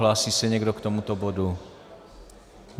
Hlásí se někdo k tomuto bodu?